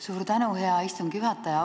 Suur tänu, hea istungi juhataja!